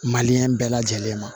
Maliyɛn bɛɛ lajɛlen ma